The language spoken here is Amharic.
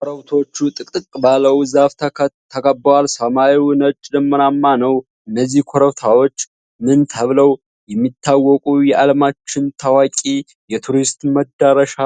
ኮረብቶቹ ጥቅጥቅ ባለው ዛፍ ተከበዋል፤ ሰማዩ ነጭ ደመናማ ነው። እነዚህ ኮረብቶች ምን ተብለው የሚታወቁ የዓለማችን ታዋቂ የቱሪስት መዳረሻ